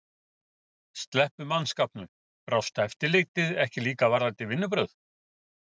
Helga: Sleppum mannskapnum. brást eftirlitið ekki líka varðandi vinnubrögð?